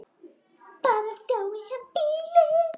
Bara að sjá bílinn.